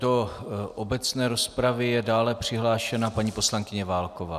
Do obecné rozpravy je dále přihlášena paní poslankyně Válková.